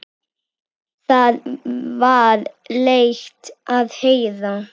Það var leitt að heyra.